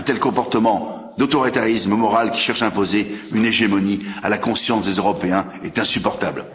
Un tel comportement d'autoritarisme moral, qui cherche à imposer une hégémonie à la conscience des Européens, est insupportable.